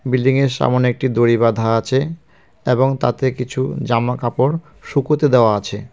Building -এর সামোনে একটি দড়ি বাঁধা আছে এবং তাতে কিছু জামাকাপড় শুকোতে দেওয়া আছে।